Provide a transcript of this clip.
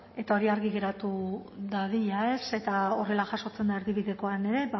eta hori argi geratu dadila eta horrela jasotzen da erdibidekoan ere